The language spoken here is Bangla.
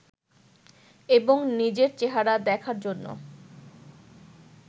এবং নিজের চেহারা দেখার জন্য